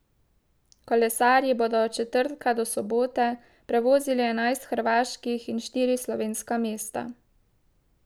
Kolesarji bodo od četrtka do sobote prevozili enajst hrvaških in štiri slovenska mesta.